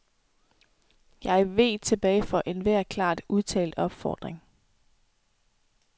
Jeg veg tilbage for enhver klart udtalt opfordring.